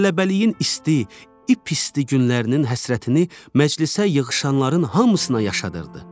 Tələbəliyin isti, ip-isti günlərinin həsrətini məclisə yığışanların hamısına yaşadırdı.